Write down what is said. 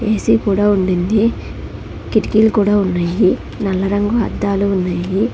AC కూడ ఉండింది కిటికీలు కూడ ఉన్నాయి నల్ల రంగు అద్దాలు ఉన్నాయి.